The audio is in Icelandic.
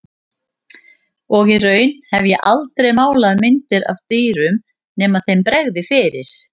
Og í raun hef ég aldrei málað myndir af dýrum nema þeim bregði fyrir.